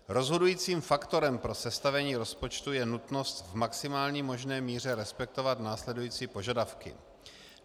Rozhodujícím faktorem pro sestavení rozpočtu je nutnost v maximální možné míře respektovat následující požadavky.